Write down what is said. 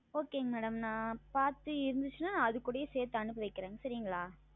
Okay Madam நான் பார்த்து இருந்தது என்றால் அதனுடனே சேர்த்து அனுப்பி வைக்கிறேன் சரிங்களா